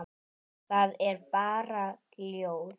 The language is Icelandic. Það er bara ljóð.